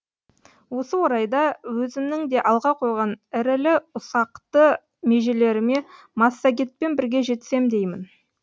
осы орайда өзімнің де алға қойған ірілі ұсақты межелеріме массагетпен бірге жетсем деймін